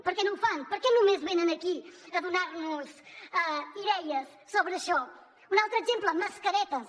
per què no ho fan per què només venen aquí a donar nos idees sobre això un altre exemple mascaretes